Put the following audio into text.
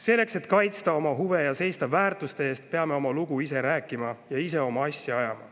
Selleks, et kaitsta oma huve ja seista väärtuste eest, peame ise oma lugu rääkima ja oma asja ajama.